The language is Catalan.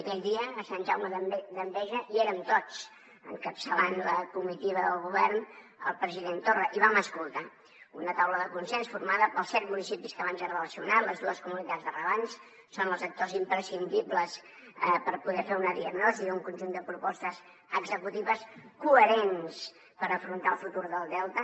aquell dia a sant jaume d’enveja hi érem tots encapçalant la comitiva del govern el president torra i vam escoltar una taula de consens formada pels set municipis que abans he relacionat les dues comunitats de regants són els actors imprescindibles per poder fer una diagnosi i un conjunt de propostes executives coherents per afrontar el futur del delta